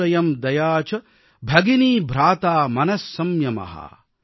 ஸத்யம் சூனுரயம் தயா ச பகினீ ப்ராதா மன சம்யம